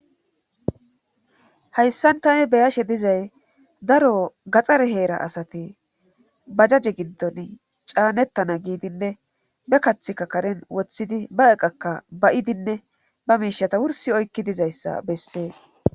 hayssan tani be'ashe dizay daro gaxxare heera asate ba jaje ginton caanettana giidinne be kathikka karen woththidi ba eqakka ba'idinne ba miishata wursi oykki dizayssa bessees